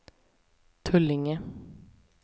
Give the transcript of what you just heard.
Tullinge